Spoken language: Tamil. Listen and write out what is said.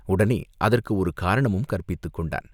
உடனே அதற்கு ஒரு காரணமும் கற்பித்துக் கொண்டான்.